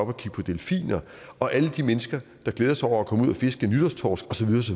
og kigge på delfiner og alle de mennesker der glæder sig over at komme ud og fiske en nytårstorsk og så